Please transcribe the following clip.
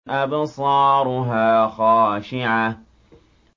أَبْصَارُهَا خَاشِعَةٌ